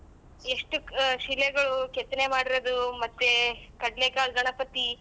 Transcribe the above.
ಎಷ್ಟು ಕ್ ಶಿಲೆಗಳು ಕೆತ್ತನೆ ಮಾಡಿರೋದು ಮತ್ತೆ ಕಡ್ಲೆ ಕಾಳ್ ಗಣಪತಿ.